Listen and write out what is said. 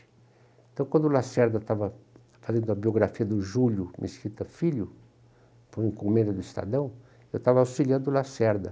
Então, quando o Lacerda estava fazendo a biografia do Júlio Mesquita Filho, por encomenda do Estadão, eu estava auxiliando o Lacerda.